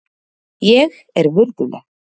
Ég er virðuleg.